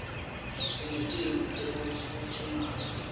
sinetinto tekufutfumata